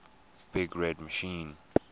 big red machine